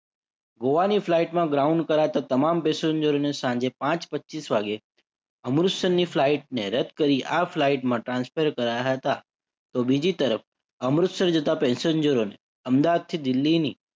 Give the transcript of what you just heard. ગોઆની flight માં ground કરાતા તમામ પેસેન્જરોને સાંજે પાંચ પચીસ વાગે અમૃતસરની flight ને રદ્દ કરી આ flight માં transfer કરાયા હતા. તો બીજી તરફ અમૃતસર જતા પેસેન્જરોને અદાવાદથી દિલ્લીની